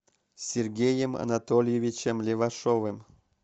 сергеем анатольевичем левашовым